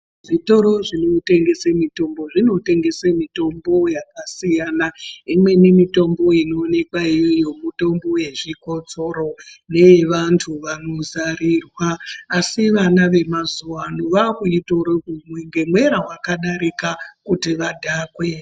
Zvitiro zvinotengese mitombo zvinotengese mitombo yakasiyana. Imweni mitombo inoonekwa iyoyo mitombo yezvikotsoro neye vantu vanozarirwa. Asi vana vemazuva ano vakuitora kuimwa ngemwera vakadarika kuti vadhake.